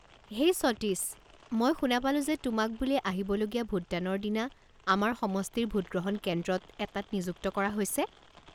হেই সতীশ, মই শুনা পালো যে তোমাক বোলে আহিবলগীয়া ভোটদানৰ দিনা আমাৰ সমষ্টিৰ ভোটগ্ৰহণ কেন্দ্ৰত এটাত নিযুক্ত কৰা হৈছে।